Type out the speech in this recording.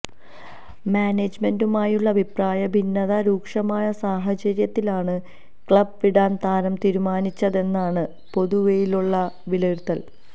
മാനേജ്മെന്റുമായുള്ള അഭിപ്രായഭിന്നത രൂക്ഷമായ സാഹചര്യത്തിലാണ് ക്ലബ്ബ് വിടാൻ താരം തീരുമാനിച്ചതെന്നാണ് പൊതുവെയുള്ള വിലയിരുത്തൽ